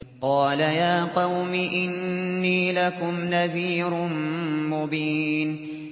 قَالَ يَا قَوْمِ إِنِّي لَكُمْ نَذِيرٌ مُّبِينٌ